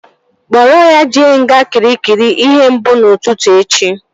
Kpụrụ ya jee nga Kịrikịri ihe mbụ n'ụtụtụ echi!